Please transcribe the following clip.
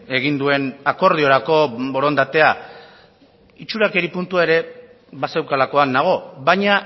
egin duen akordiorako borondatea itxurakeri puntua ere bazeukalakoan nago baina